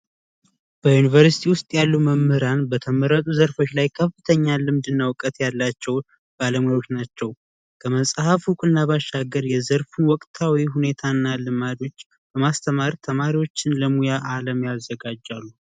በዩኒቨርስቲ ውስጥ ያሉ መምህራን በተመረጡ ዘርፎች እና እውቀት ያላቸው ባለሙያዎች ናቸውና ባሻገር የዘርፉ ወቅታዊ ሁኔታ ተማሪዎችን ለሙያ አለም ያዘጋጃሉ